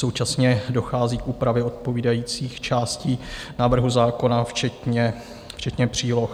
Současně dochází k úpravě odpovídajících částí návrhu zákona včetně příloh.